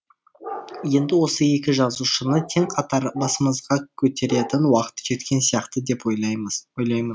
енді осы екі жазушыны тең қатар басымызға көтеретін уақыт жеткен сияқты деп ойлаймын